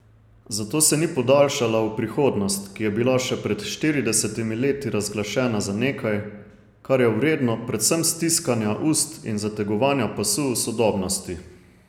Zato se ni podaljšala v prihodnost, ki je bila še pred štiridesetimi leti razglašana za nekaj, kar je vredno predvsem stiskanja ust in zategovanja pasu v sodobnosti.